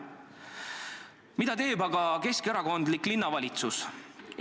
Mida teeb aga keskerakondlik linnavalitsus?